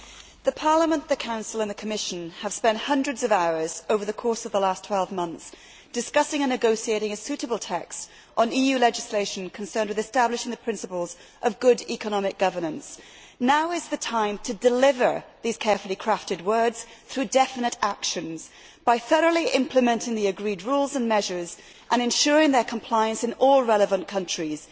Mr President, Parliament, the Council and the Commission have spent hundreds of hours over the course of the last 12 months discussing and negotiating a suitable text on EU legislation to establish the principles of good economic governance. Now is the time to deliver these carefully crafted words through definite actions, by thoroughly implementing the agreed rules and measures and ensuring their compliance in all relevant countries.